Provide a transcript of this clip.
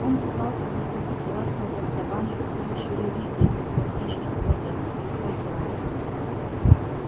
он пытался захватить власть над основанием с помощью религии как на внешних планетах и проиграл